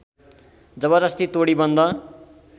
जबर्जस्ती तोडी बन्द